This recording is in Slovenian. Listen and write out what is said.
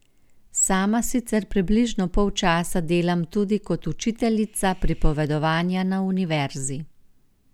Sama sicer približno pol časa delam tudi kot učiteljica pripovedovanja na univerzi.